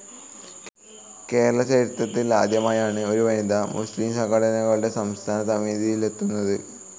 കേരള ചരിത്രത്തിൽ ആദ്യമായാണ് ഒരു വനിത മുസ്‌ലിം സംഘടനകളുടെ സംസ്ഥാന സമിതിയിലെത്തുന്നത്.